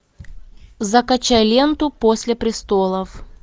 закачай ленту после престолов